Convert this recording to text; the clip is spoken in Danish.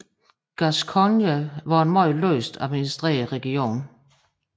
Gascogne var en meget løst administreret region